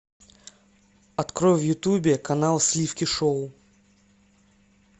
открой в ютубе канал сливки шоу